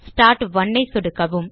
start 1 ஐ சொடுக்கவும்